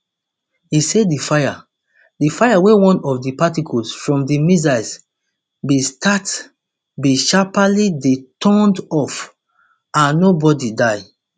e say di fire di fire wey one of di particles from di missiles bin start bin sharparly dey turned off and no bodi die